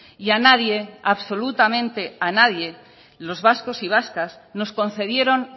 y a nadie absolutamente a nadie los vascos y vascas nos concedieron